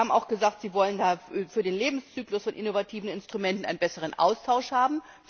Sie haben auch gesagt, Sie wollen für den Lebenszyklus von innovativen Instrumenten einen besseren Austausch haben.